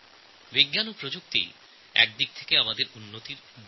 বিজ্ঞান ও প্রযুক্তি আসলে উন্নয়নের DNA